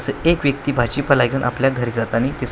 एक व्यक्ती भाजीपाला घेऊन आपल्या घरी जातानी दिस --